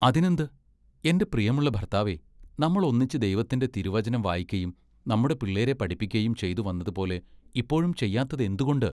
അതിനെന്ത്? എന്റെ പ്രിയമുള്ള ഭർത്താവേ നമ്മൾ ഒന്നിച്ച് ദൈവത്തിന്റെ തിരുവചനം വായിക്കയും നമ്മുടെ പിള്ളേരെ പഠിപ്പിക്കയും ചെയ്തുവന്നതുപോലെ ഇപ്പോഴും ചെയ്യാത്തത് എന്തുകൊണ്ട്?